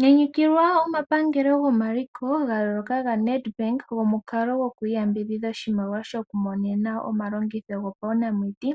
Nyanyukilwa omapangelo gomaliko gayooloka gaNedbank gomukalo gokwiiyambidhidha oshimaliwa shoku monena omalongitho gopawunamiti,